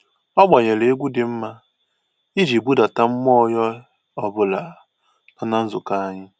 Ọ gbanyere egwu dị mma iji budata mmụọ onye ọbụla nọ na nzukọ anyị